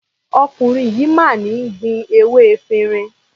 Ọkùnrin yìí máa ń ní gbin ewé efirin.